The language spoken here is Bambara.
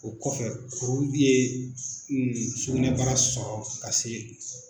O kɔfɛ kuru ye sugunɛbara sɔrɔ ka se.